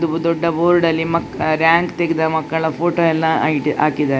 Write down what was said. ಇದು ದೊಡ್ಡ ಬೋರ್ಡ್ ಲ್ಲಿ ಮಕ್ಕ ರಾಂಕ್ ತೆಗೆದ ಮಕ್ಕಳ ಫೋಟೋ ಎಲ್ಲ ಹಾಕಿದ್ದಾರೆ.